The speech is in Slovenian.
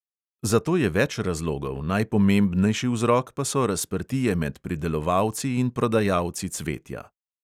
Za to je več razlogov, najpomembnejši vzrok pa so razprtije med pridelovalci in prodajalci cvetja.